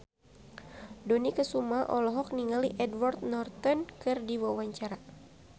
Dony Kesuma olohok ningali Edward Norton keur diwawancara